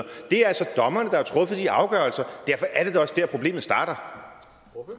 det er altså dommerne der har truffet de afgørelser derfor er det da også der problemet starter